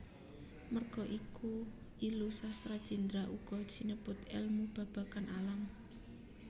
Merga iku Illu Sastra Jendra uga sinebut èlmu babagan alam